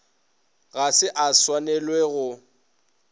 ga se e swanele go